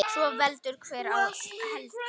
Svo veldur hver á heldur.